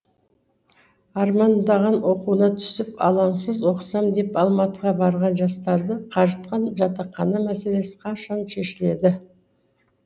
армандаған оқуына түсіп алаңсыз оқысам деп алматыға барған жастарды қажытқан жатақхана мәселесі қашан шешіледі